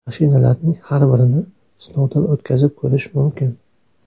Mashinalarning har birini sinovdan o‘tkazib ko‘rish mumkin.